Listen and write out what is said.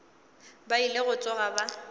ba ile go tsoga ba